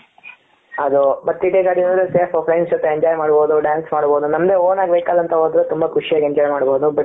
ಅದು but ಟಿ ಟಿ ಗಡಿ ಯಲ್ಲಿ ಹೋದ್ರೆ safe friends ಜೊತೆ enjoy ಮಾಡ್ಬೋಹು dance ಮಾಡ್ಬೋಹು ನಮ್ದೆ own ಆಗಿ vehicle ಅಂತ ಹೋದ್ರೆ ತುಂಬಾ ಖುಷಿಯಾಗಿ enjoy ಮಾಡ್ಬೋಹು but